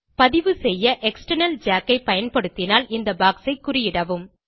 பதிவு செய்ய external jack ஐ பயன்படுத்தினால் இந்த பாக்ஸ் ஐ குறியிடவும்